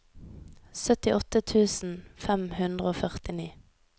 syttiåtte tusen fem hundre og førtini